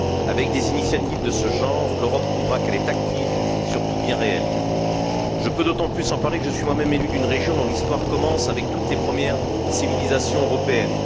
Avec des initiatives de ce genre, l'Europe prouvera qu'elle est active et surtout bien réelle. Je peux d'autant plus en parler que je suis moi même élu d'une région dont l'histoire commence avec toutes les premières civilisations européennes.